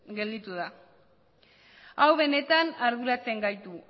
gelditu da hau benetan arduratzen gaitu